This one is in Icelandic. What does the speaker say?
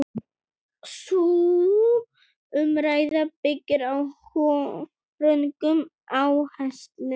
Sú umræða byggir á röngum áherslum.